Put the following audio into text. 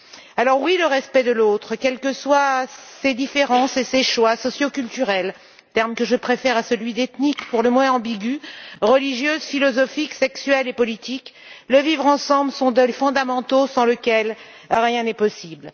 Alors, assurément, le respect de l'autre, quels que soient ses différences et ses choix socioculturels terme que je préfère à celui d'ethniques, pour le moins ambigu religieux, philosophiques, sexuels et politiques, et le vivre ensemble sont des principes fondamentaux sans lesquels rien n'est possible.